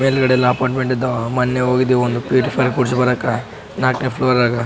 ಮೇಲ್ಗಡೆ ಎಲ್ಲ ಅಪ್ಪರ್ಟ್ಮೆಂಟ್ ಇದ್ದಾವ ಮೊನ್ನೆ ಹೋಗಿದ್ದವು ಒಂದು ಪ್ಯೂರಿಫೈ ಕೂಡ್ಸಿಬರಾಕ ನಕ್ನೇ ಫ್ಲೋರ್ ದಾಗ .